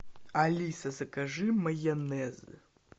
алиса закажи майонез